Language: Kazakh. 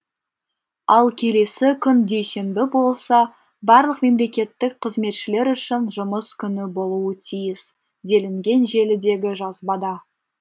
ал келесі күн дүйсенбі болса барлық мемлекеттік қызметшілер үшін жұмыс күні болуы тиіс делінген желідегі жазбада